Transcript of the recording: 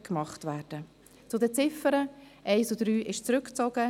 Zu den Ziffern: Die Ziffern 1 und 3 sind zurückgezogen.